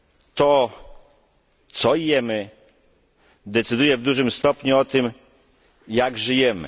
To, co jemy decyduje w dużym stopniu o tym, jak żyjemy.